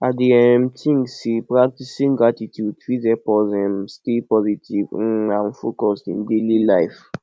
i dey um think say practicing gratitude fit help us um stay positive um and focused in daily life